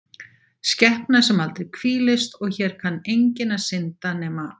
skepna sem aldrei hvílist og hér kann enginn að synda, nema